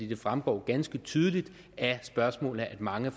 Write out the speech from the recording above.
det fremgår ganske tydeligt af spørgsmålene at mange